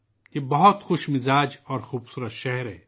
یہ ایک بہت ہی خوشگوار اور خوبصورت شہر ہے